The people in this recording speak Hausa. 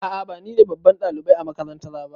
A'a ba nine babban ɗalibai a makarantara ba.